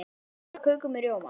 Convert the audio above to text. Ég borða köku með rjóma.